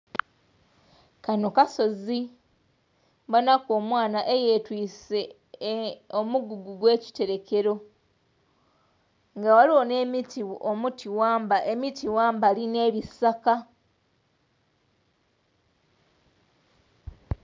Kanho kasozi mbonhaku omwanha eyetise omugugu ogwe kiterekelo nga ghaligho emiti ghambali ne bisaka.